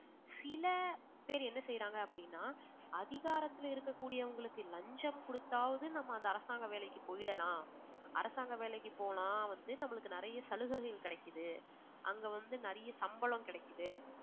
சில பேர் என்ன செய்யுறாங்க அப்படின்னா அதிகாரத்தில இருக்கக்கூடியவங்களுக்கு லஞ்சம் கொடுத்தாவது நாம அந்த அரசாங்க வேலைக்கு போயிடலாம். அரசாங்க வேலைக்கு போனா வந்து நமக்கு நிறைய சலுகைகள் கிடைக்குது. அங்க வந்து நிறைய சம்பளம் கிடைக்குது